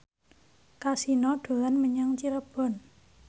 Kasino dolan menyang Cirebon